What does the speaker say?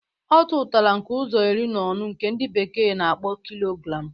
Ọ tụtara nke ụzọ iri na ọnụ nke ndi bekee na-akpọ kilogram